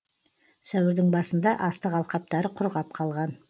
сәуірдің басында астық алқаптары құрғап қалған